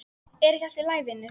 Er ekki allt í lagi vinur?